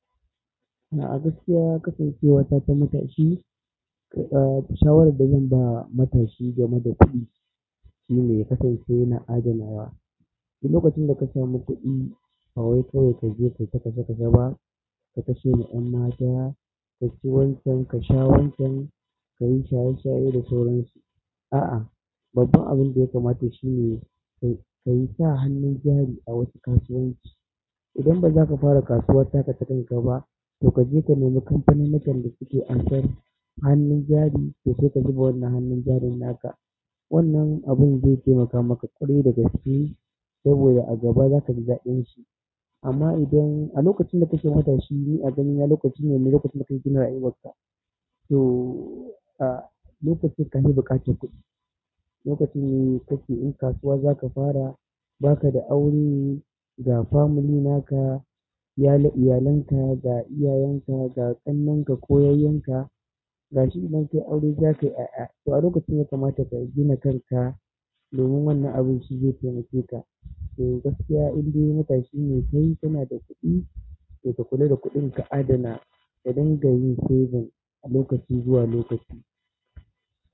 A gaskiya kasancewata ta matashi, eh, shawar dazan ba matashi game da kuɗi shine yakasance yana adanawa. Lokacin daka samu kuɗi, bawai kawai kaje kaita kashe kashe ba, ka kashewa 'yanmata, kaci wancan, kasha wancan, kayi shaye-shaye da sauransu. A'a, babban abinda yakamata shine kayi kasa hannun jari a wasu kasuwanci. Idan ba zaka fara kasuwa taka takanka ba, to kaje kanemi kamfaninnikan dasuke ansar hannun jari, to saika zuba wannan hannun jarin naka. Wannan abin zai taimaka maka ƙwarai dagaske saboda a gaba zakaji ɗadinshi. Amma idan alokacin dakake matashi, ni a ganina lokacine mai lokaci maka yi ginar rayuwarka. To, alokacin kane buƙatar kuɗi. Lokacin ne kake in kasuwa zaka fara, baka da aure, ga family naka, iyalanka ga iyayenka ga ƙannenka, ko yayyenka, gashi idan kayi aure zakayi a'a. To alokacin yakamata kagina kanka domin wannan abun shi zai taimake ka. To gaskiya andai matashine kai kanada kuɗi, to kakula da kuɗinka adana kadinga yin saving a lokaci zuwa lokaci.